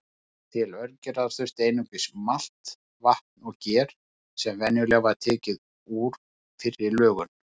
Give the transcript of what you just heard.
Til ölgerðar þurfti einungis malt, vatn og ger sem venjulega var tekið úr fyrri lögun.